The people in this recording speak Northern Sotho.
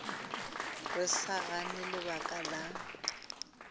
re sa gane lebaka la